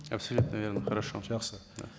абсолютно верно хорошо жақсы